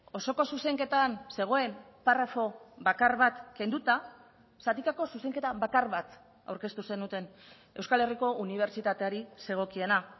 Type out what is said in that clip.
osoko zuzenketan zegoen parrafo bakar bat kenduta zatikako zuzenketa bakar bat aurkeztu zenuten euskal herriko unibertsitateari zegokiena